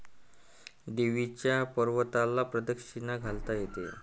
देवीच्या पर्वताला प्रदक्षिणा घालता येते.